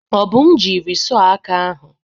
Obum jiri sọh aka ahụ.